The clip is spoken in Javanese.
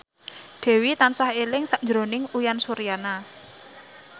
Dewi tansah eling sakjroning Uyan Suryana